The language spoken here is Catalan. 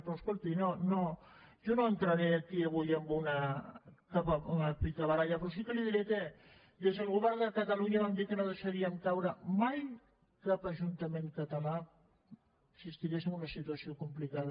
però escolti jo no entraré aquí avui en una picabaralla però sí que li diré que des del govern de catalunya vam dir que no deixaríem caure mai cap ajuntament català si estigués en una situació complicada